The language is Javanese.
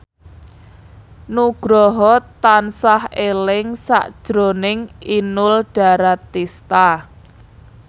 Nugroho tansah eling sakjroning Inul Daratista